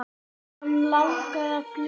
Hann langaði að fljúga.